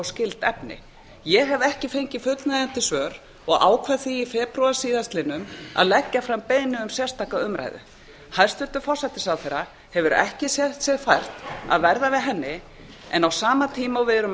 skyld efni ég hef ekki fengið fullnægjandi svör og ákvað því í febrúar síðastliðnum að leggja fram beiðni um sérstaka umræðu hæstvirtur forsætisráðherra hefur ekki séð sér fært að verða við henni en á sama tíma og við erum